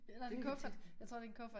Nej det en kuffert jeg tror det en kuffert